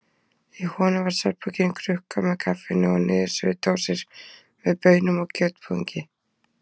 Í honum var svefnpokinn, krukka með kaffinu og niðursuðudósir með baunum og kjötbúðingi.